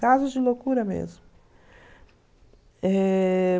Casos de loucura mesmo. Eh...